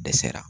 Dɛsɛra